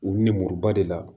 U nimoriba de la